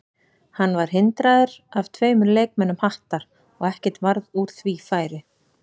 Hann var hindraður af tveimur leikmönnum Hattar og ekkert varð úr því færi.